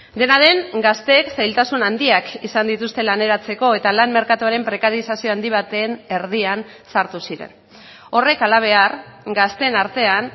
dena den gazteek zailtasun handiak izan dituzte laneratzeko eta lan merkatuaren prekarizazio handi baten erdian sartu ziren horrek halabehar gazteen artean